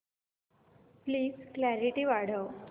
please clarity वाढव